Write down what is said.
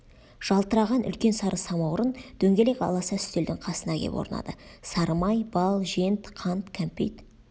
жалтыраған үлкен сары самаурын дөңгелек аласа үстелдің қасына кеп орнады сары май бал жент қант кәмпит